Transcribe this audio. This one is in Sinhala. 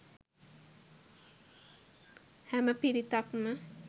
හැම පිරිතක්ම